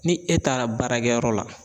Ni e taara baarakɛyɔrɔ la